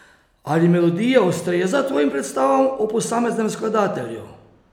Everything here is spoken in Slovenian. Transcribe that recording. Ali melodija ustreza tvojim predstavam o posameznem skladatelju?